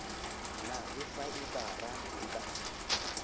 na le faebara e ka